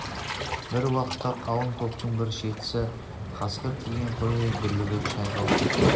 бір уақытта қалың топтың бір шеті қасқыр тиген қойдай дүрлігіп шайқалып кетті